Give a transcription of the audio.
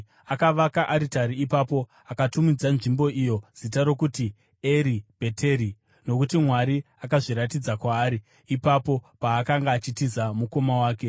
Akavaka aritari ipapo, akatumidza nzvimbo iyo zita rokuti Eri Bheteri, nokuti Mwari akazviratidza kwaari ipapo paakanga achitiza mukoma wake.